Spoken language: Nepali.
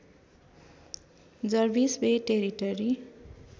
Jarvis Bay territory